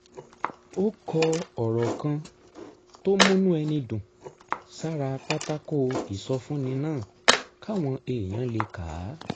ó kọ ọ̀rọ̀ kan tó múnú ẹni dùn sára pátákó ìsọfúnni náà káwọn èèyàn lè kà á